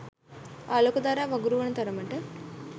ආලෝක ධාරා වගුරුවන තරමට